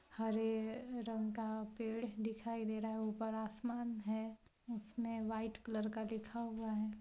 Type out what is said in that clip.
हरे रंग का पेड़ दिखाई दे रहा है ऊपर आसमान है उसमें व्हाइट कलर का लिखा हुआ है।